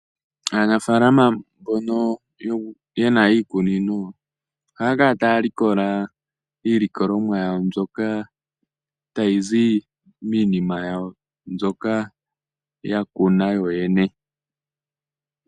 Aanafalama mbono yena iikunino yawo yoyene ohaakala taya likola iilikolomwa miikunino yawo.